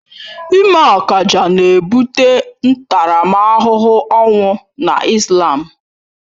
Ịme akaja na ebute ntaramahụhụ ọnwụ na Islam